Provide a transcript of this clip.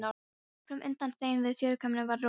Fram undan þeim við fjörukambinn var rofabarð.